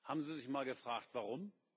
Haben Sie sich mal gefragt, warum?